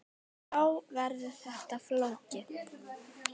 Þá verður þetta flókið.